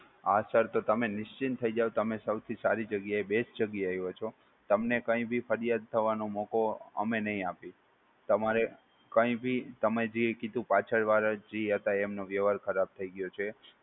હા sir તો તમે નિશ્ચિત થઈ જાઓ તમે સૌથી સારી જગ્યાએ best જગ્યા આવ્યો હતો તમને કંઈ ભી ફરિયાદ થવાનો મોકો અમે નહીં આપીએ. તમારે કઈ ભી તમે જે કીધું પાછળ વાળા જે હતા એમનો વ્યવહાર ખરાબ થઈ ગયો છે